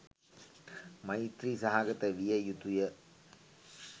මෛත්‍රී සහගත විය යුතුය.